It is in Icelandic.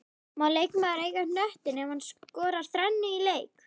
Má leikmaður eiga knöttinn ef hann skorar þrennu í leik?